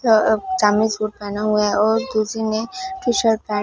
अं ब सामने सुट पेहना हुआ है और किसी नें टी शर्ट पैंट --